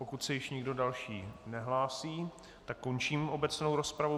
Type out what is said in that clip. Pokud se již nikdo další nehlásí, tak končím obecnou rozpravu.